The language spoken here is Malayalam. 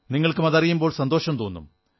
നിങ്ങൾക്കും അതറിയുമ്പോൾ സന്തോഷം തോന്നും